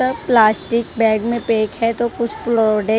ह plastic bag में pack है तो कुछ प्रोडक्ट --